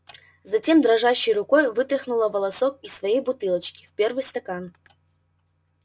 затем дрожащей рукой вытряхнула волосок из своей бутылочки в первый стакан